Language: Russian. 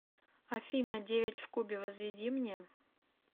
афина девять в кубе возведи мне